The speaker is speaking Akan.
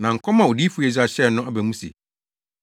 Na nkɔm a Odiyifo Yesaia hyɛɛ no aba mu se: